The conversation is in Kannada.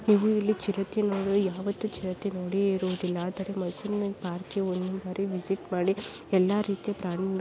ಇದು ಇಲ್ಲಿ ಚಿರತೆ ನೋಡು ಯಾವತ್ತೂ ಚಿರತೆ ನೋಡೇ ಇರುದಿಲ್ಲ ಆದರೆ ಮೈಸೂರಿನಲ್ಲಿ ಪಾರ್ಕಿಗೆ ಒಂದು ಬಾರಿ ವಿಸಿಟ್ ಮಾಡಿ ಎಲ್ಲ ರೀತಿಯ ಪ್ರಾಣಿ --